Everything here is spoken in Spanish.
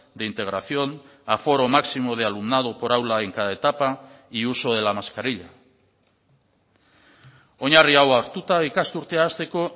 de integración aforo máximo de alumnado por aula en cada etapa y uso de la mascarilla oinarri hau hartuta ikasturtea hasteko